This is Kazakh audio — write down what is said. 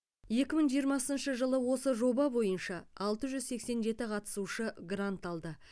екі мың жиырмасыншы жылы осы жоба бойынша алты жүз сексен жеті қатысушы грант алды